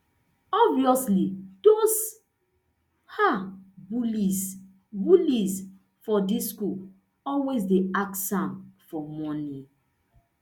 obviously those um bullies bullies for di school always dey ask am for money